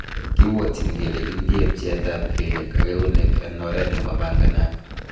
Kibwotin kele kindie pcheetab kelyek ak eunek en oret nemapanganat.